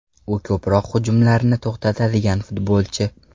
U ko‘proq hujumlarni to‘xtatadigan futbolchi.